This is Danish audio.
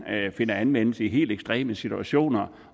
finder anvendelse i helt ekstreme situationer